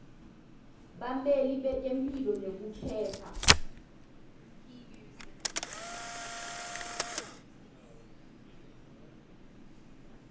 bameli betemphilo nekuphepha